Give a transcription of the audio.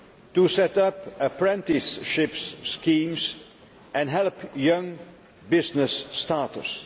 to set up apprenticeship schemes and help young business starters.